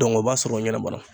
o b'a sɔrɔ o ɲɛnabɔ